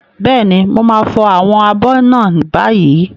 Bẹ́ẹ̀ni, mo máa fọ àwọn abọ́ náà báyìí.